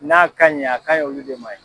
N'a kaɲi a k'an ye' olu de ma ye.